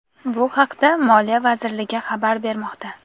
Bu haqda Moliya vazirligi xabar bermoqda .